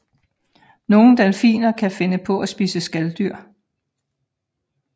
Nogle delfiner kan finde på at spise skaldyr